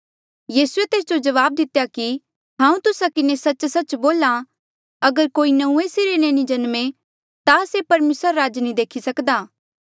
यीसूए तेस जो जवाब दितेया कि हांऊँ तुस्सा किन्हें सच्चसच्च बोल्हा अगर कोई नंऊँऐं सिरे ले नी जम्मे ता से परमेसरा रा राज नी देखी सक्दा